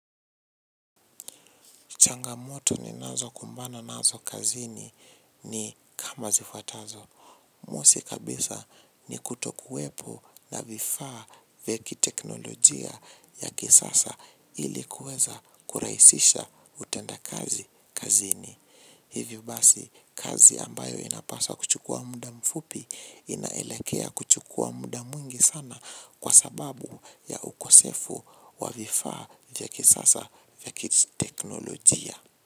Changamoto ninazokumbana nazo kazini ni kama zifuatazo. Mosi kabisa ni kutokuwepo na vifaa vya kiteknolojia ya kisasa ili kuweza kurahisisha utendakazi kazini. Hivyo basi kazi ambayo inapasa kuchukua muda mfupi inaelekea kuchukua muda mwingi sana kwa sababu ya ukosefu wa vifaa vya kisasa vya kiteknolojia.